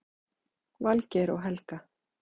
Valgeir og Helga.